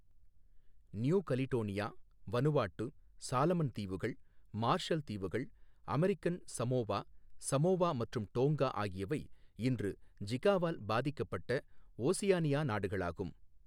New Caledonia, Vanuatu, Solomon தீவுகள், Marshall தீவுகள், American Samoa, Samoa மற்றும் டோங்கா ஆகியவை இன்று ஜிகாவால் பாதிக்கப்பட்ட ஓசியானியா நாடுகளாகும்.